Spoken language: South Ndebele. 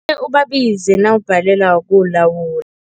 Ubabize nawubhalelwa kuwulawula.